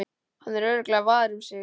Hann er örugglega var um sig.